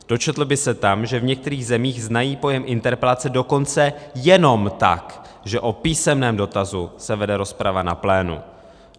Dočetl by se tam, že v některých zemích znají pojem interpelace dokonce jenom tak, že o písemném dotazu se vede rozprava na plénu.